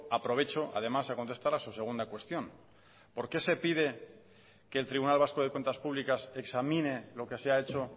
aprovecho además a contestar a su segunda cuestión por qué se pide que el tribunal vasco de cuentas públicas examine lo que se ha hecho